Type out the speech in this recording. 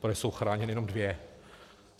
Protože jsou chráněny jenom dvě.